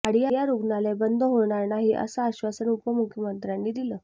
वाडिया रुग्णालय बंद होणार नाही असं आश्वासन उपमुख्यमंत्र्यांनी दिलं